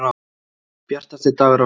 Bjartasti dagur ársins.